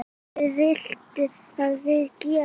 Hvað viltu að við gerum?